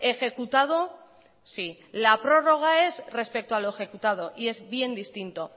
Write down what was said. ejecutado sí la prórroga es respecto a lo ejecutado y es bien distinto